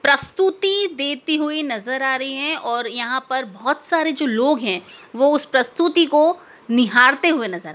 प्रस्तुति देती हुई नज़र आ रही है और यहां पर बहोत सारे जो लोग है वो उस प्रस्तुति को निहारते हुए नज़र--